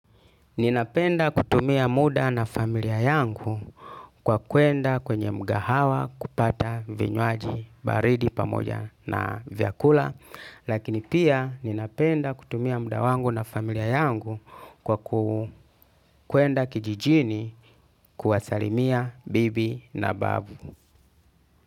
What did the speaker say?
Ninapenda kutumia muda na familia yangu kwa kuenda kwenye mgahawa kupata vinywaji baridi pamoja na vyakula. Lakini pia ninapenda kutumia muda wangu na familia yangu kwa kuenda kijijini kuwasalimia bibi na babu.